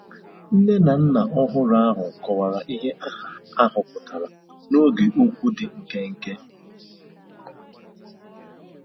Nne na nna ọhụrụ ahụ kọwara ihe aha ahụ pụtara n'oge okwu dị nkenke.